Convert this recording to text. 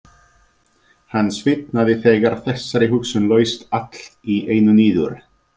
Hann svitnaði þegar þessari hugsun laust allt í einu niður.